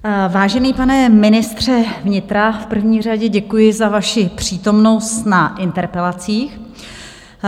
Vážený pane ministře vnitra, v první řadě děkuji za vaši přítomnost na interpelacích.